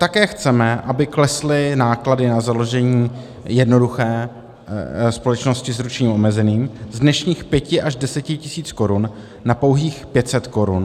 Také chceme, aby klesly náklady na založení jednoduché společnosti s ručením omezeným z dnešních 5 až 10 tisíc korun na pouhých 500 korun.